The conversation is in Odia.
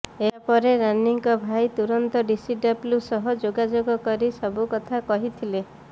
ଏହାପରେ ରାନୀଙ୍କ ଭାଇ ତୁରନ୍ତ ଡିସିଡବ୍ଲ୍ୟୁ ସହ ଯୋଗାଯୋଗ କରି ସବୁ କଥା କହିଥିଲେ